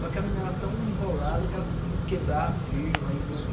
Só que a mina era tão enrolada que ela conseguiu quebrar a firma. E não